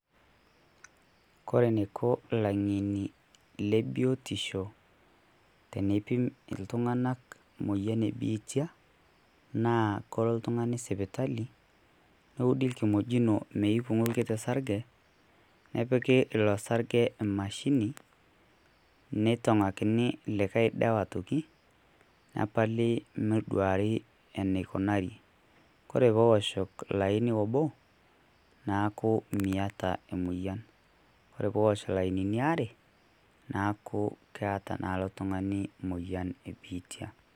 Kore nekoo laany'eny'e le buuitisho tenepiim iltung'anak moyaan biitia naa koo ltung'ani isipitali neudii nkimojinoo meipung'o nkitii sarijee nipee loo sarijee emashini neitong'akini likai daawa ntoki nepaali neiduari eneikonaire. Kore pee oshoo olaini oboo naeku meitaa emoyaaan. Kore pee oshoo lainini aare naaku keeta naa oltung'ani moyaan e mbiitia.